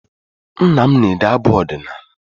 Nna m na-ede abụ ọdịnaala